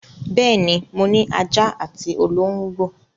Bẹ́ẹ̀ ni, mo ní ajá àti olóńgbò.